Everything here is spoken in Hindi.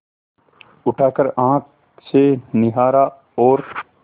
उठाकर आँख से निहारा और